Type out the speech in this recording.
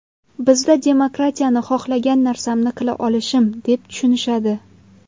Bizda demokratiyani xohlagan narsamni qila olishim deb tushunishadi.